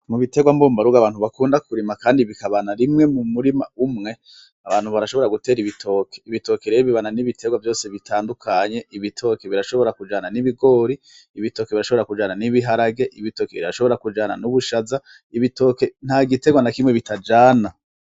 Mu bitegwa mbubarugo abantu bakunda kurima kandi bikabana rimwe mu murima umwe, abantu barashobora gutera ibitoke, ibitoke rero bibana n’ibitegwa vyose bitandukanye, ibitoke birashobora kujana n'ibigori, ibitoke birashobora kujana n'ibiharage, ibitoke birashobora kujana n'ubushaza, ibitoke nta gitegwa na kimwe bitajana.